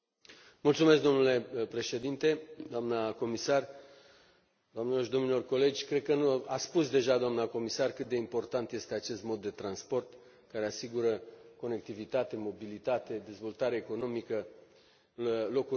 Domnule președinte, doamnă comisar, doamnelor și domnilor colegi, cred că a spus deja doamna comisar cât de important este acest mod de transport, care asigură conectivitate, mobilitate, dezvoltare economică, locuri de muncă.